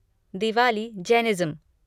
Diwali Jainism